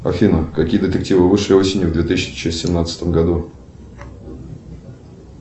афина какие детективы вышли осенью в две тысячи семнадцатом году